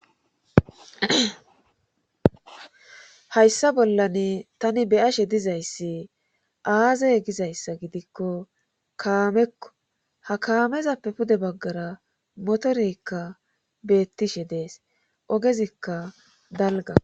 hayssa bollan tani beyashe dizayssi aazey gizayssa gidikko kaamekko ha kaamezappe pude baggara motorekka beettishe dees ogezikka dalga